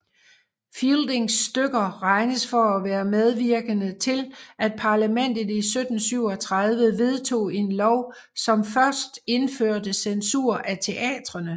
Fieldings stykker regnes for at være medvirkende til at parlamentet i 1737 vedtog en lov som indførte censur af teatrene